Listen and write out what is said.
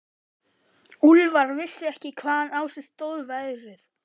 Úlfar vissi ekki hvaðan á sig stóð veðrið.